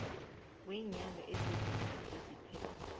weenyanga ezibunane eziphele